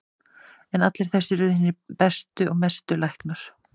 En allir þessir urðu hinir mestu læknar.